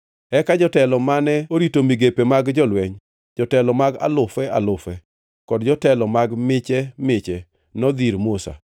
Eka jotelo mane orito migepe mag jolweny, jotelo mag alufe alufe kod jotelo mag miche miche, nodhi ir Musa